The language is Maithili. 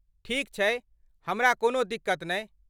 ठीक छै! हमरा कोनो दिक्कत नहि।